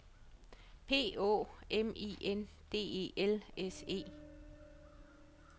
P Å M I N D E L S E